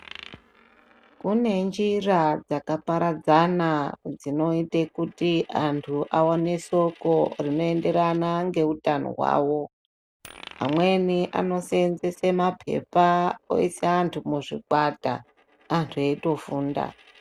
Kune njira dzakaparadzana rinoita kuti vantu vaone soko rinoenderana ngehutano hwavo amweni anosenzesa mapepa oisa vantu muzvikwata antu veitofunda.